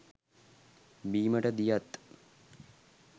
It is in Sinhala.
බීමට දියත්,